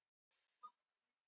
Fésteinar færðu mönnum fé.